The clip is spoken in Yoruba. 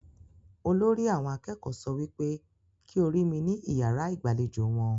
Olórí àwọn akẹ́kọ̀ọ́ sọ wípé kí o ri mi ni iyàrá igbalejo wọn.